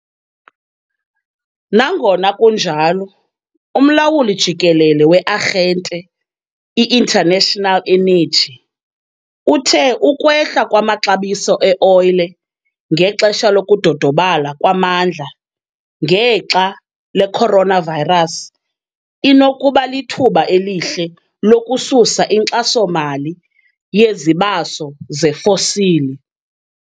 Nangona kunjalo, uMlawuli Jikelele we-Arhente i-International Energy uthe ukwehla kwamaxabiso e-oyile ngexesha lokudodobala kwamandla ngexa le coronavirus inokuba lithuba elihle lokususa inkxaso-mali yezibaso zefosili.